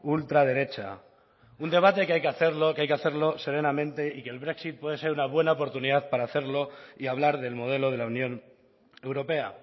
ultraderecha un debate que hay que hacerlo que hay que hacerlo serenamente y que el brexit puede ser una buena oportunidad para hacerlo y hablar del modelo de la unión europea